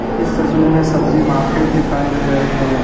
इस तस्वीर में सब्जी मार्केट दिखाई दे रहे हैं।